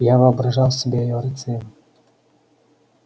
я воображал себя её рыцарем